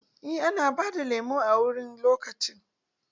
Eh ana bada lemo wani lokaci.